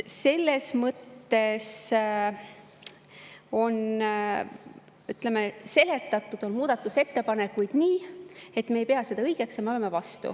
Ütleme nii, et muudatusettepanekuid on seletatud nii, et me ei pea seda õigeks ja me oleme vastu.